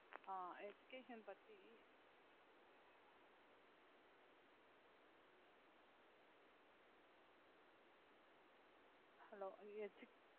ஆஹ் education பத்தி hello edu~